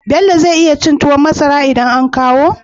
Bello zai iya cin tuwon masara idan an kawo?